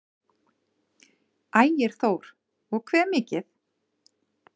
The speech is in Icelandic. Ægir Þór: Og hve mikið?